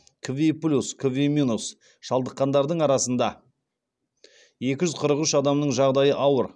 кви плюс кви минус шалдыққандардың арасында екі жүз қырық үш адамның жағдайы ауыр